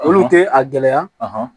Olu tɛ a gɛlɛya